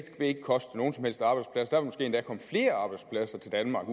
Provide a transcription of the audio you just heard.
vil ikke koste nogen som helst arbejdsplads der vil endda komme flere arbejdspladser til danmark